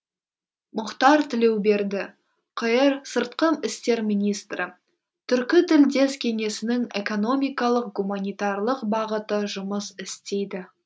мұхтар тілеуберді қр сыртқы істер министрі түркі тілдес кеңесінің экономикалық гуманитарлық бағыты жұмыс істейді